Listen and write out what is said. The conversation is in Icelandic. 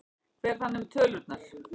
Hver fann upp tölurnar?